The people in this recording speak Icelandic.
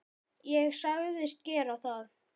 Ég sagðist gera það.